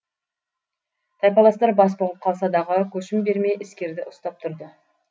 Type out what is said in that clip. тайпаластар бас бұғып қалса дағы көшім бермей іскерді ұстап тұрды